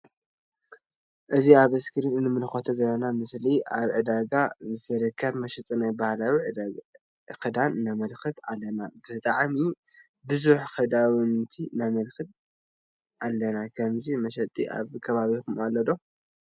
እዚ ኣብ እስኪሪን እንምልከቶ ዘለና መሰሊ ኣብ ዕዳጋ ዝርከብ መሸጢ ናይ ባህላዊ ክዳን ነመልከት ኣለና ብጣዕሚ ቡዙሕ ክዳውንቲ ነመለከት ኣለና። ከምዚ መሸጢ አብ ከባቢኩመ ትፈልጡ ዶ?